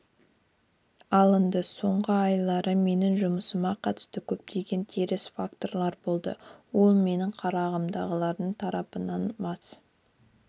алынды соңғы айлары менің жұмысыма қатысты көптеген теріс факторлар болды ол менің қарамағымдағылар тарапынан мас